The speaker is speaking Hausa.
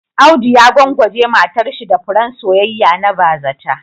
Audu ya gwangwaje matarshi da furen soyayya na bazata